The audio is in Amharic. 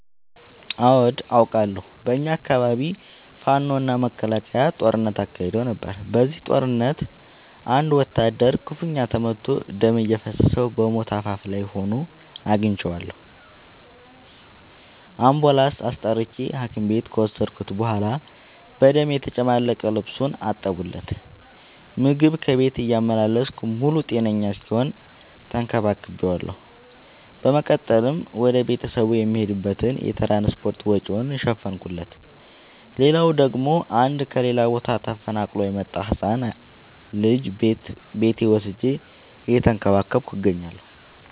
አዎድ አቃለሁ። በኛ አካባቢ ፋኖ እና መከላከያ ጦርነት አካሂደው ነበር። በዚህ ጦርነት አንድ ወታደር ክፋኛ ተመቶ ደም እየፈሰሰው በሞት አፋፍ ላይ ሆኖ አግኝቼው። አንቡላንስ አስጠርቼ ሀኪም ቤት ከወሰድከት በኋላ በደም የተጨማለቀ ልብሱን አጠብለት። ምግብ ከቤት እያመላለስኩ ሙሉ ጤነኛ እስኪሆን ተከባክ ቤዋለሁ። በመቀጠልም ወደ ቤተሰቡ የሚሄድበትን የትራንስፓርት ወጪውን ሸፈንኩለት። ሌላላው ደግሞ አንድ ከሌላ ቦታ ተፈናቅሎ የመጣን ህፃን ልጅ ቤቴ ወስጄ እየተንከባከብኩ እገኛለሁ።